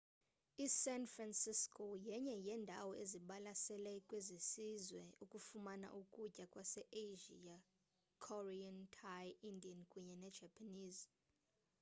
i-san francisco yenye yeendawo ezibalaseleyo kwesisizwe ukufumana ukutya kwase asia korean thai indian kunye ne-japanese